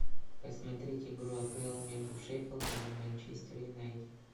посмотреть игру апл между шеффилдом и манчестер юнайтед